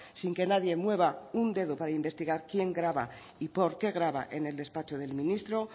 sin que nadie mueva un dedo para investigar quién graba y por qué graba en el despacho del ministro